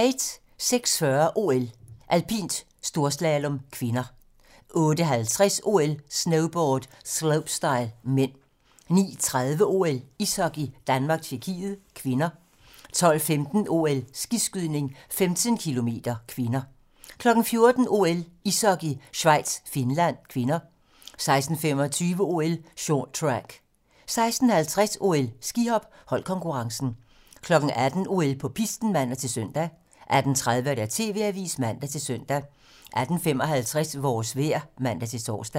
06:40: OL: Alpint - storslalom (k) 08:50: OL: Snowboard - slopestyle (m) 09:30: OL: Ishockey - Danmark-Tjekkiet (k) 12:15: OL: Skiskydning - 15 km (k) 14:00: OL: Ishockey - Schweiz-Finland (k) 16:25: OL: Short track 16:50: OL: Skihop - holdkonkurrencen 18:00: OL på pisten (man-søn) 18:30: TV-Avisen (man-søn) 18:55: Vores vejr (man-tor)